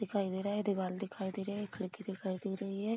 दिखाई दे रहा है दीवाल दिखाई दे रहा है खिड़की दिखाई दे रही है।